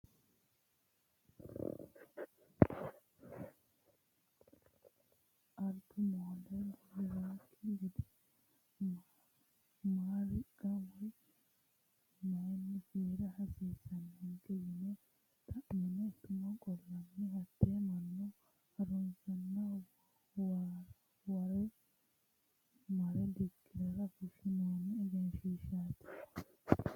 Albu moole buliranokki gede maa riqqa woyi mayini fiira hasiisanonke yine xa'mine tumo qollanni hate mannu harunsaranna mare dikkirara fushinonni egenshishshati.